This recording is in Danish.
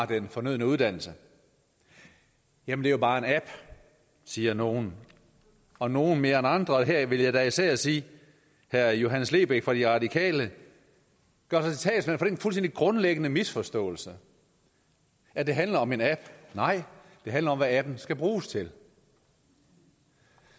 den fornødne uddannelse jamen det er bare en app siger nogle og nogle mere end andre og her vil jeg da især sige at herre johannes lebech fra de radikale gør sig til talsmand for den fuldstændig grundlæggende misforståelse at det handler om en app nej det handler om hvad appen skal bruges til